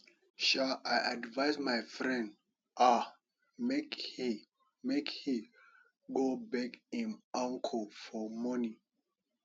um i advice my friend um make he make he go beg im uncle for money